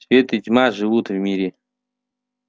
свет и тьма живут в мире